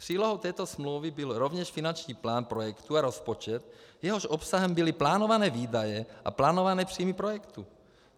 Přílohou této smlouvy byl rovněž finanční plán projektu a rozpočet, jehož obsahem byly plánované výdaje a plánované příjmy projektu.